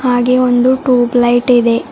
ಹಾಗೆ ಒಂದು tube light ಇದೆ.